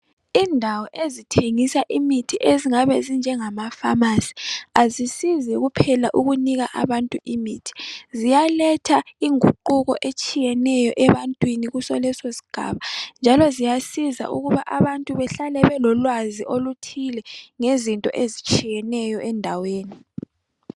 Indawo ezithengisa imithi ezingabe zinjengamafamasi. Azisizi kuphela ukunika abantu imithi ziyaletha inguquko etshiyeneyo ebantwini kuso lesi sigaba njalo ziyasiza ukuba abantu bahalae belolwazi oluthile ngezifo ezitshiyeneyo endaweni.